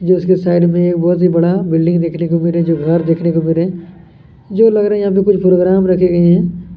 जो उसके साइड मे बोहत ही बड़ा बिल्डिंग देखने को मिल रहै हैं घर देखने को मिल रहै हैं जो लग रहा हैं यहाँ पर कुछ प्रोग्राम रखे गए हैं।